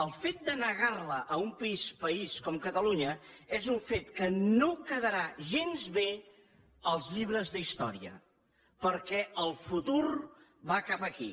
el fet de negar ho a un país com catalunya és un fet que no quedarà gens bé en els llibres d’història perquè el futur va cap aquí